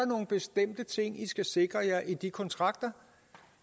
nogle bestemte ting de skal sikre i de kontrakter